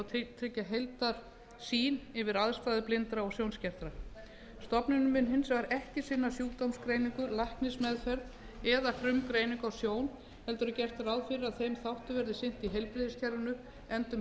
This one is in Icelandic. þessa hóps og tryggja heildarsýn yfir aðstæður blindra og sjónskertra stofnunin mun hins vegar ekki sinna sjúkdómsgreiningu læknismeðferð eða frumgreiningu á sjón heldur er gert ráð fyrir að þeim þáttum verði sinnt í heilbrigðiskerfinu enda um heilbrigðisþjónustu